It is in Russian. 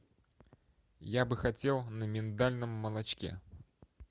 я бы хотел на миндальном молочке